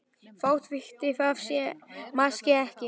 Þótt hún viti það máske ekki.